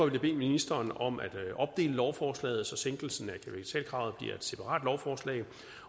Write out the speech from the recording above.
jeg bede ministeren om at opdele lovforslaget så sænkelsen af kapitalkravet bliver et separat lovforslag